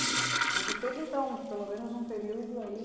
Mas você teve, então, pelo menos um período aí?